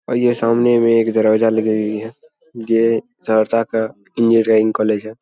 और ये सामने में एक दरवाजा लगी हुई है ये सरसा का इंजीनियरिंग कॉलेज है।